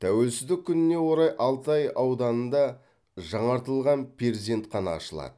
тәуелсіздік күніне орай алтай ауданында жаңартылған перзентхана ашылады